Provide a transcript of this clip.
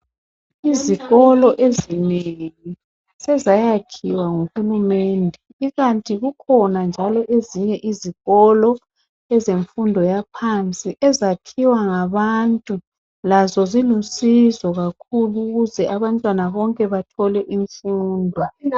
Izikolo ezinengi sezayakhiwa nguhulumende kukanti kukhona njalo ezinye izikolo ezemfundo yaphansi ezakhiwa ngabantu lazo zilusizo kakhulu ukuze abantwana bonke bathole imfundo